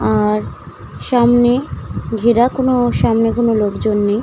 আর সামনে ঘেরা কোনো সামনে কোনো লোকজন নেই ।